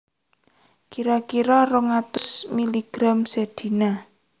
Kira kira rong atus miligram sedina